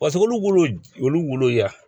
Paseke olu wolo olu wolo y'a